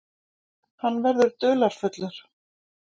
Hann verður dularfullur.